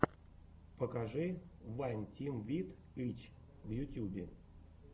покажи вайн тим вит ы ч в ютьюбе